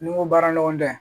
Ni n ko baara ɲɔgɔnda ye